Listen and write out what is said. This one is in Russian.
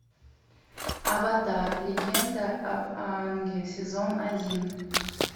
аватар легенда об аанге сезон один